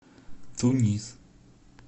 тунис